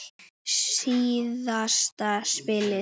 Síðasta spilið.